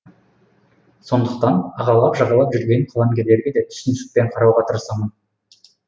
сондықтан ағалап жағалап жүрген қаламгерлерге де түсіністікпен қарауға тырысамын